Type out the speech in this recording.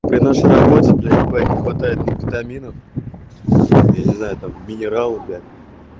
это что такое блять не хватает витаминов или за этого минерала блять